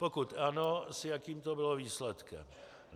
Pokud ano, s jakým to bylo výsledkem.